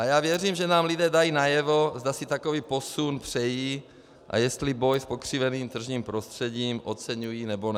A já věřím, že nám lidé dají najevo, zda si takový posun přejí a jestli boj s pokřiveným tržním prostředím oceňují, nebo ne.